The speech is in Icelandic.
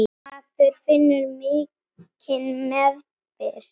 Maður finnur mikinn meðbyr.